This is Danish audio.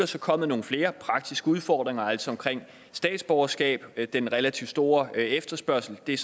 så kommet nogle flere praktiske udfordringer altså omkring statsborgerskab den relativt store efterspørgsel det er